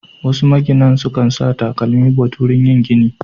Wasu maginan sukan sa takalmi but wurin yin gini.